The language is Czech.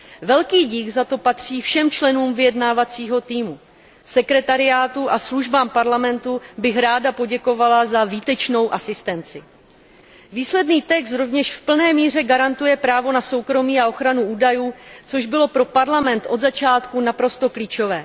Velký dík za to patří všem členům vyjednávacího týmu, sekretariátu a službám Evropského parlamentu bych ráda poděkovala za výtečnou asistenci. Výsledný text rovněž v plné míře garantuje právo na soukromí a ochranu údajů, což bylo pro Evropský parlament od začátku naprosto klíčové.